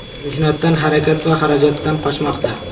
Mehnatdan, harakat va xarajatdan qochmoqda.